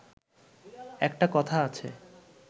একটা কথা আছে